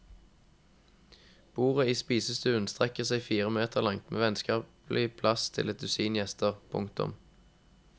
Bordet i spisestuen strekker seg fire meter langt med vennskapelig plass til et dusin gjester. punktum